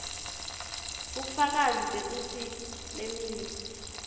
bufakazi bekutsi leminye